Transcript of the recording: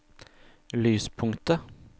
lyspunktet